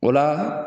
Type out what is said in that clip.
O la